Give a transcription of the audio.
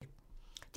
DR1